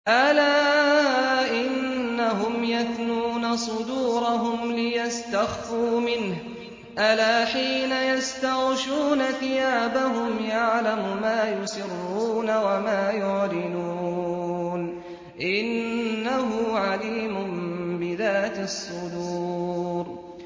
أَلَا إِنَّهُمْ يَثْنُونَ صُدُورَهُمْ لِيَسْتَخْفُوا مِنْهُ ۚ أَلَا حِينَ يَسْتَغْشُونَ ثِيَابَهُمْ يَعْلَمُ مَا يُسِرُّونَ وَمَا يُعْلِنُونَ ۚ إِنَّهُ عَلِيمٌ بِذَاتِ الصُّدُورِ